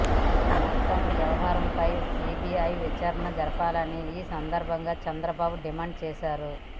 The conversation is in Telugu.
మొత్తం వ్యవహారంపై సిబిఐ విచారణ జరపాలని ఈ సందర్భంగా చంద్రబాబు డిమాండ్ చేశారు